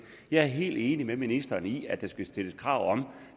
jeg er helt enig med ministeren i at der skal stilles krav om